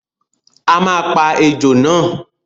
A máa pa ejò náà!